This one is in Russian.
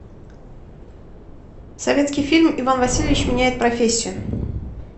советский фильм иван васильевич меняет профессию